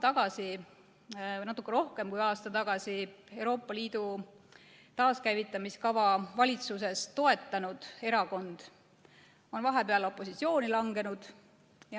Üks veel natuke rohkem kui aasta tagasi Euroopa Liidu taaskäivitamise kava valitsuses toetanud erakond on vahepeal opositsiooni langenud.